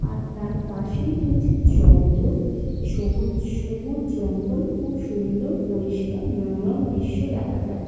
আর তার পাশেই রয়েছে জঙ্গল। সবুজ সবুজ জঙ্গল খুব সুন্দর পরিষ্কার মনোরম দির্শ দেখা যা--